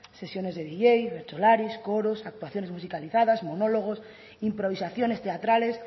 sesiones de dj bertsolaris coros actuaciones musicalizadas monólogos improvisaciones teatrales